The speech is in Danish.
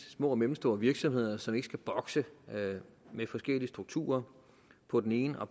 små og mellemstore virksomheder som ikke skal bokse med forskellige strukturer på den ene og